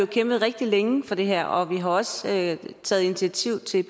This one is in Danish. kæmpet rigtig længe for det her og vi har også taget taget initiativ til